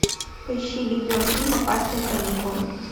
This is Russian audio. поищи видеофильм опасные каникулы